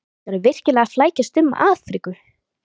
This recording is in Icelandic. Telma Tómasson: Er þetta bara óútfyllt ávísun?